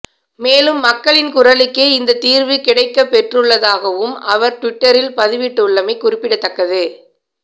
மேலும் மக்களின் குரலுக்கே இந்த தீர்வு கிடைக்கப்பெற்றுள்ளதாகவும் அவர் டுவிட்டரில் பதிவிட்டுள்ளமை குறிப்பிடத்தக்கது